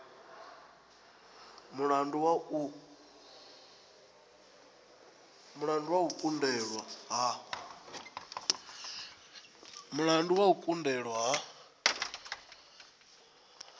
mulandu wa u kundelwa ha